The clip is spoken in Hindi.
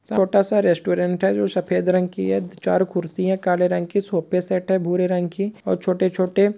छोटा सा रेस्टोरेंट है जो सफेद रंग की है चार कुर्सी है काले रंग की सोफा सेट है भूरे रंग की और छोटे छोटे--